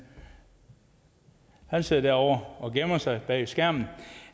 han sidder derovre og gemmer sig bag skærmen